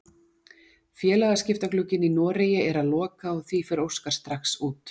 Félagaskiptaglugginn í Noregi er að loka og því fer Óskar strax út.